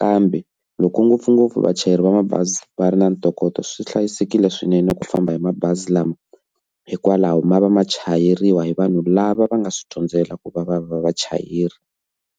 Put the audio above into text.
kambe loko ngopfungopfu vachayeri va mabazi va ri na ntokoto swi hlayisekile swinene ku famba hi mabazi lama hikwalaho ma va ma chayeriwa hi vanhu lava va nga swi dyondzela ku va va va vachayeri.